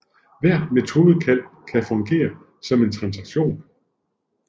Hvert metodekald kan fungere som en transaktion